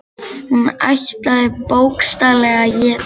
Hún ætlaði bókstaflega að éta hann.